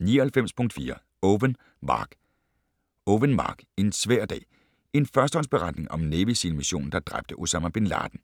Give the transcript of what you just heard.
99.4 Owen, Mark Owen, Mark: En svær dag: en førstehåndsberetning om Navy SEAL missionen der dræbte Osama Bin Laden